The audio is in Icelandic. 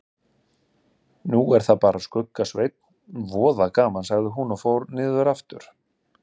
Nú er það bara Skugga-Sveinn, voða gaman sagði hún og fór niður aftur.